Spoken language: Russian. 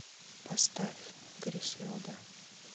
поставь гриселда